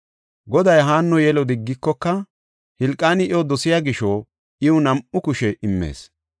Goday Haanno yelo diggikoka, Hilqaani iyo dosiya gisho, iw nam7u kushe immees.